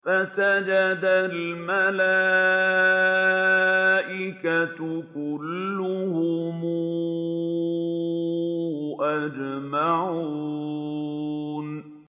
فَسَجَدَ الْمَلَائِكَةُ كُلُّهُمْ أَجْمَعُونَ